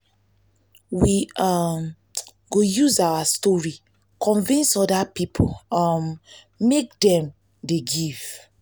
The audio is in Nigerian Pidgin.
we um go use our story convince oda pipo um make dem dey um give.